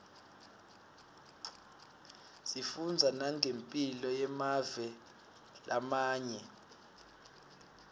sifundza nangemphilo yemave lamanye